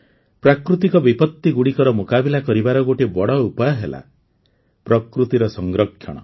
ପ୍ରାକୃତିକ ବିପତ୍ତିଗୁଡ଼ିକର ମୁକାବିଲା କରିବାର ଗୋଟିଏ ବଡ଼ ଉପାୟ ହେଲା ପ୍ରକୃତିର ସଂରକ୍ଷଣ